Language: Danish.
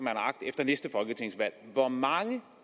har agt efter næste folketingsvalg hvor mange